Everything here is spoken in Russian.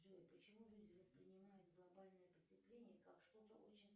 джой почему люди воспринимают глобальное потепление как что то очень